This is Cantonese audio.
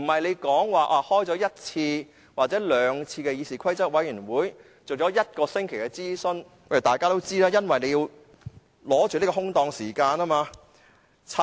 不是開了一次或者兩次議事規則委員會的會議，進行了一個星期的諮詢就是有程序公義。